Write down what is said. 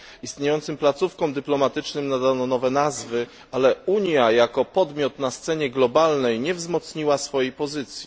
Istniejącym placówkom dyplomatycznym nadano nowe nazwy, ale Unia jako podmiot na scenie globalnej nie wzmocniła swojej pozycji.